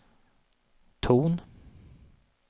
ton